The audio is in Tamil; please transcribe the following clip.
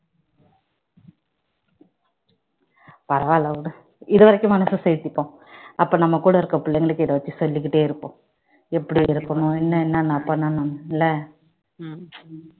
பரவாயில்ல இதுவரைக்கும் மனச தேர்த்திப்போம் அப்பா நம்ம கூட இருக்குற புள்ளைங்களுக்கு சொல்லிகிட்டே இருப்போம் எப்படி இருக்கணும் என்னென்ன பண்ணணும் இல்ல